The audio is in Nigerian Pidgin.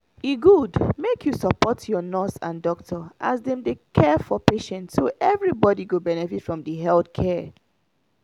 e good make you support your nurse and doctor as dem dey care for patient so everybody go benefit from the health care.